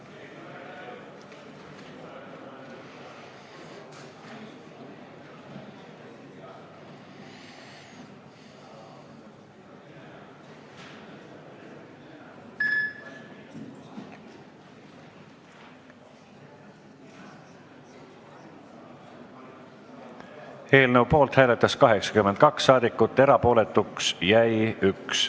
Hääletustulemused Eelnõu poolt hääletas 82 saadikut, erapooletuks jäi 1.